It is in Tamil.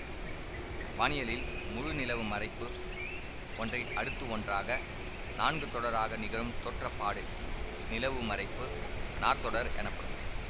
வானியலில் முழு நிலவு மறைப்பு ஒன்றை அடுத்து ஒன்றாக நான்கு தொடராக நிகழும் தோற்றப்பாடு நிலவு மறைப்பு நாற்தொடர் எனப்படும்